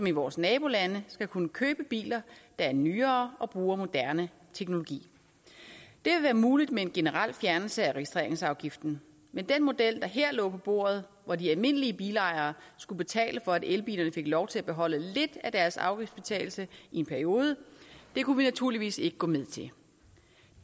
i vores nabolande skal kunne købe biler der er nyere og bruger moderne teknologi det vil være muligt med en generel fjernelse af registreringsafgiften men den model der her lå på bordet hvor de almindelige bilejere skulle betale for at elbilerne fik lov til at beholde lidt af deres afgiftsfritagelse i en periode kunne vi naturligvis ikke gå med til